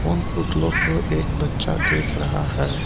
उन पुतलो को एक बच्चा देख रहा है।